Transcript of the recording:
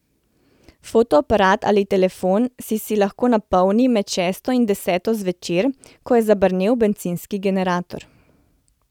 Fotoaparat ali telefon si si lahko napolnil med šesto in deseto zvečer, ko je zabrnel bencinski generator.